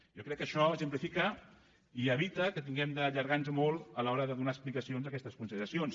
jo crec que això exemplifica i evita que tinguem d’allargar nos molt a l’hora de donar explicacions a aquestes consideracions